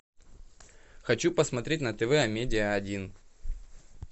хочу посмотреть на тв амедиа один